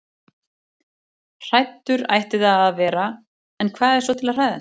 Hræddur ætti það að vera- en hvað er svo til að hræðast?